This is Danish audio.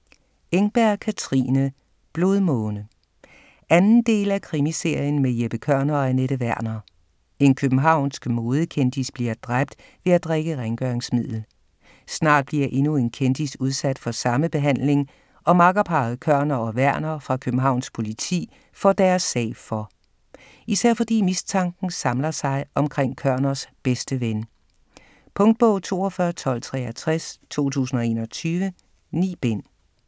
Engberg, Katrine: Blodmåne 2. del af krimiserien med Jeppe Kørner og Anette Werner. En københavnsk modekendis bliver dræbt ved at drikke rengøringsmiddel. Snart bliver endnu en kendis udsat for samme behandling, og makkerparret Kørner og Werner fra Københavns Politi får deres sag for. Især fordi mistanken samler sig omkring Kørners bedste ven. Punktbog 421263 2021. 9 bind.